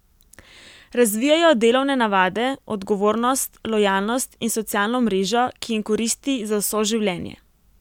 Razvijejo delovne navade, odgovornost, lojalnost in socialno mrežo, ki jim koristi za vso življenje.